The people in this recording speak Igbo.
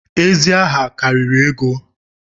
Ezi aha karịrị ego